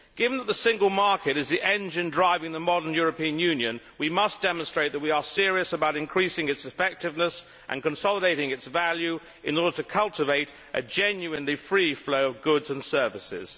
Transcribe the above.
Given that the single market is the engine driving the modern European Union, we must demonstrate that we are serious about increasing its effectiveness and consolidating its value in order to cultivate a genuinely free flow of goods and services.